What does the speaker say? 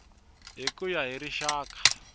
hi ku ya hi rixaka